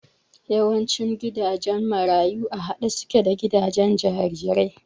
Yawancin gidajen marayu a haɗe suke da gidajen jarirai